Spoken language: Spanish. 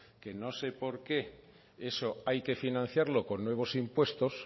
que no sé por qué eso hay que financiarlo con nuevos impuestos